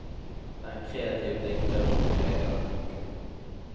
Det er en kreativ dikter som preger denne boken.